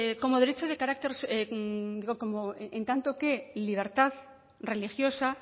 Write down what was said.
como derecho de carácter digo en tanto que libertad religiosa